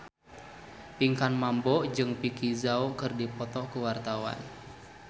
Pinkan Mambo jeung Vicki Zao keur dipoto ku wartawan